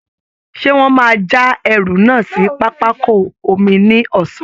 Ṣé wọ́n máa já ẹrù náà sí pápákọ omi ní ọ̀sán?